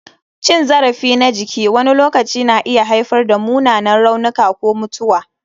Cin zarafi na jiki wani lokaci na iya haifar da munanan raunuka ko mutuwa.